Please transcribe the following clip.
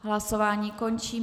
Hlasování končím.